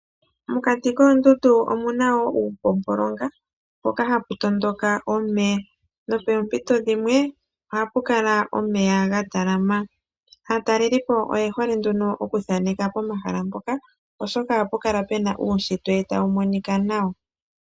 Mokati koondundu omu na wo uupopolonga, mpoka hapu tondoka omeya nopeempito dhimwe oha pu kala omeya ga talama, aatalelipo oye hole nduno oku thaneka pomahala mpoka oshoka oha pu kala pu na uushitwe ta wu monika nawa.